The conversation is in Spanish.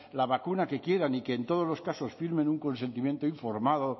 la vacuna que quieran y que en todos los casos firmen un consentimiento informado